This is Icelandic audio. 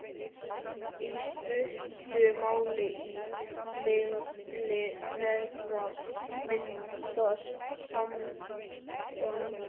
Í stuttu máli: á milli þeirra myndast samband.